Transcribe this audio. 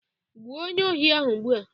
gbuo onye ohi ahụ ugbua